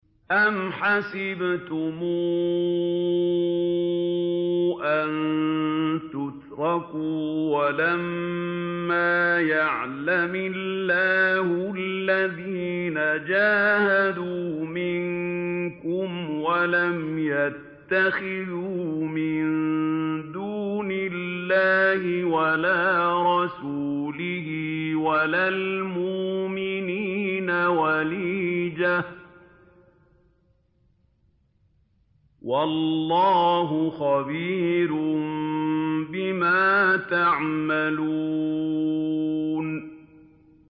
أَمْ حَسِبْتُمْ أَن تُتْرَكُوا وَلَمَّا يَعْلَمِ اللَّهُ الَّذِينَ جَاهَدُوا مِنكُمْ وَلَمْ يَتَّخِذُوا مِن دُونِ اللَّهِ وَلَا رَسُولِهِ وَلَا الْمُؤْمِنِينَ وَلِيجَةً ۚ وَاللَّهُ خَبِيرٌ بِمَا تَعْمَلُونَ